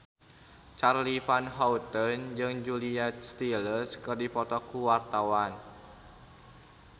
Charly Van Houten jeung Julia Stiles keur dipoto ku wartawan